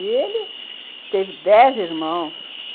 E ele teve dez irmãos.